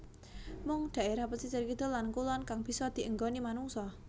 Mung dhaerah pesisir kidul lan kulon kang bisa dienggoni manungsa